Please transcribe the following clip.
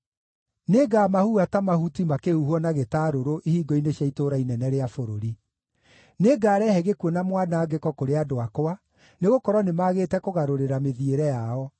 Nĩngamahuha ta mahuti makĩhuhwo na gĩtarũrũ ihingo-inĩ cia itũũra inene rĩa bũrũri. Nĩngarehe gĩkuũ na mwanangĩko kũrĩ andũ akwa, nĩgũkorwo nĩmagĩte kũgarũrĩra mĩthiĩre yao.